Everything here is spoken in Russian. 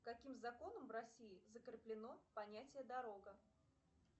каким законом в россии закреплено понятие дорога